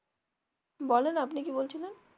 বলেন আপনি কি বলছিলেন?